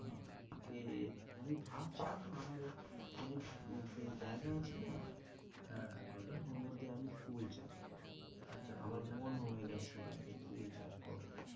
কি আমি ভাবছিলাম আমার ও অনেক জে জায়গা আছে না হ্যাঁ, হ্যাঁ বলো ওর মধ্যে আমি ফুল চাষ করবো আচ্ছা আমার মন হয়েগেছে এবার যে ফুল চাষ করবো।